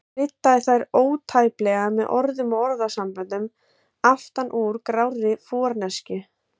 Kryddaði þær ótæpilega með orðum og orðasamböndum aftan úr grárri forneskju.